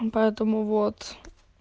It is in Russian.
поэтому вот